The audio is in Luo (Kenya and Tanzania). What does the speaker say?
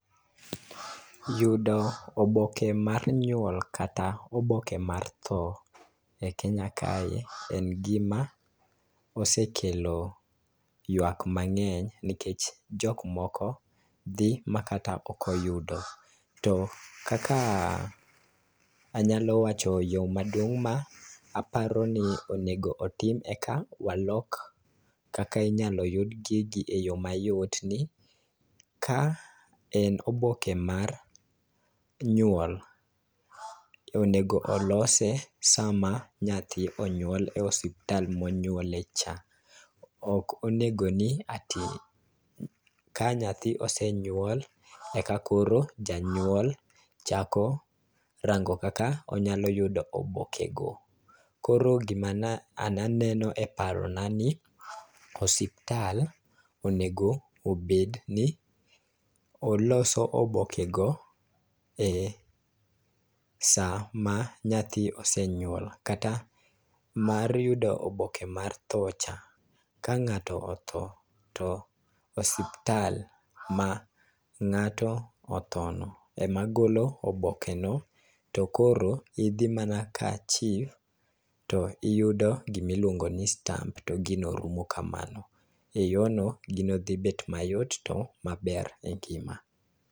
Yudo oboke mar nyuol kata oboke mar tho e Kenya kae en gima osekelo yuak mang'eny nikech jok moko dhi ma kata ok oyudo. To kaka anyalo wacho yo maduong' ma aparo ni onego otim eka walok kaka inyalo yud gigi e yo mayot ni, ka en oboke mar nyuol, onego olose sama nyathi onyuol e osiptal monyuole cha. Ok onego ni ati ka nyathi osenyuol e ka koro janyuol chako rango kaka onyalo yudo oboke go. Koro gima na aneno e paro na ni osiptal onego obed ni oloso oboke go e sa ma nyathi osenyuol kata mar yudo oboke mar tho cha. Ka ng'ato otho, to osiptal ma ng'ato otho no e ma golo oboke no to koro idhi mana ka Chief to iyudo gima iluongo ni stamp to gino rumo kamano. E yo no, gino dhibet mayot to maber e ngima.